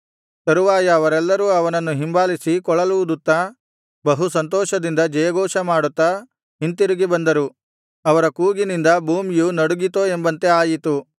ತರುವಾಯ ಅವರೆಲ್ಲರೂ ಅವನನ್ನು ಹಿಂಬಾಲಿಸಿ ಕೊಳಲೂದುತ್ತಾ ಬಹುಸಂತೋಷದಿಂದ ಜಯಘೋಷಮಾಡುತ್ತಾ ಹಿಂತಿರುಗಿ ಬಂದರು ಅವರ ಕೂಗಿನಿಂದ ಭೂಮಿಯು ನಡುಗಿತೋ ಎಂಬಂತೆ ಆಯಿತು